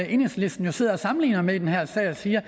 enhedslisten sidder og sammenligner med i den her sag man siger at